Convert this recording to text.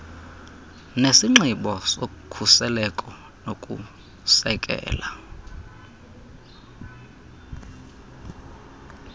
nesinxibo sokhuseleko nokusekela